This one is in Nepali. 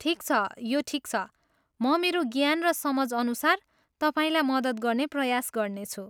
ठिक छ, यो ठिक छ। म मेरो ज्ञान र समझ अनुसार तपाईँलाई मदत गर्ने प्रयास गर्नेछु।